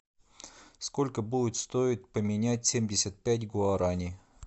сколько будет стоить поменять семьдесят пять гуарани